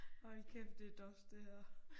Hold kæft det dorsk det her